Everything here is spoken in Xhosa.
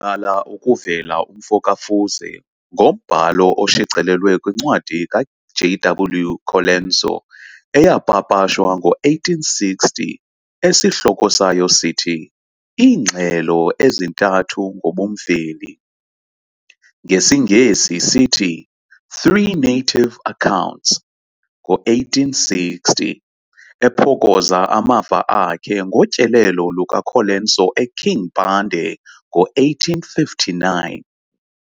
Waqala ukuvela umfo ka-Fuze ngombhalo oshicilelweyo kwincwadi ka J.W Colenso eyapapashwa ngo-1860, esihloko sayo sithi "Iingxelo ezintathu ngobumveli", ngesiNgesi sithi "Three Native accounts", 1860, ephokoza amava akhe ngotyelelo lukaColenso eKing Mpande ngo-1859.